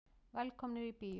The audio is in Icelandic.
Velkomnir í bíó.